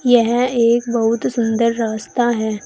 यह एक बहुत सुंदर रास्ता है।